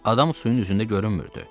Adam suyun üzündə görünmürdü.